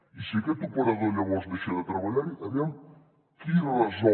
i si aquest operador llavors deixa de treballar hi aviam qui resol